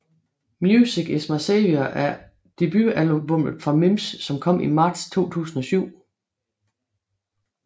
Music Is My Savior er debutalbumet fra Mims som kom i Marts 2007